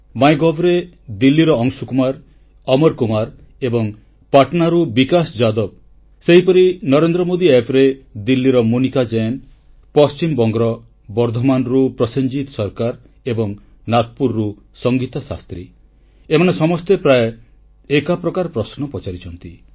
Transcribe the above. MyGov ରେ ଦିଲ୍ଲୀର ଅଂଶୁକୁମାର ଅମରକୁମାର ଏବଂ ପାଟନାରୁ ବିକାଶ ଯାଦବ ସେହିପରି ନରେନ୍ଦ୍ରମୋଦୀ App ରେ ଦିଲ୍ଲୀର ମୋନିକା ଜୈନ ପଶ୍ଚିମବଙ୍ଗର ବର୍ଦ୍ଧମାନରୁ ପ୍ରସେନଜିତ ସରକାର ଏବଂ ନାଗପୁରରୁ ସଙ୍ଗୀତା ଶାସ୍ତ୍ରୀ ଏମାନେ ସମସ୍ତେ ପ୍ରାୟ ଏକା ପ୍ରକାର ପ୍ରଶ୍ନ ପଚାରିଛନ୍ତି